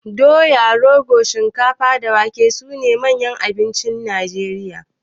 Doya, rogo, shinkafa da wake sune manyan abincin Najeriya.